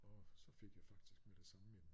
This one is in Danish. Og så fik jeg faktisk med det samme en